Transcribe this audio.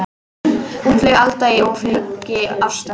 Útlæg Alda í ofríki ástar.